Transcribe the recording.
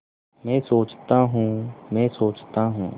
मैं सोचता हूँ मैं सोचता हूँ